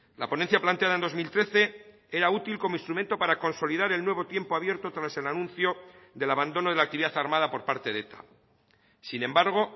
la ponencia planteada en dos mil trece era útil como instrumento para consolidar el nuevo tiempo abierto tras el anuncio del abandono de la actividad armada por parte de eta sin embargo